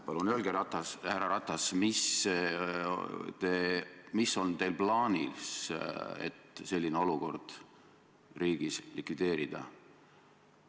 Palun öelge, härra Ratas, mis on teil plaanis, et selline olukord riigis likvideerida?